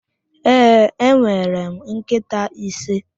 Ee, enwere m nkịta ise.